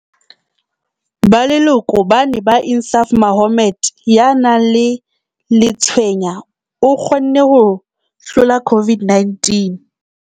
"Ba leloko ba ne ba Insaaf Mohammed, ya nang le letshweya, o kgonne ho hlola COVID-19."